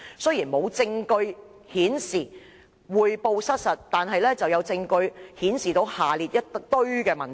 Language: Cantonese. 雖然並無證據顯示匯報失實，但有證據顯示下列"一大堆的問題。